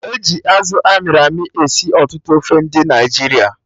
E ji Azụ amịrị amị esi ọtụtụ ofe ndị Naịjirịa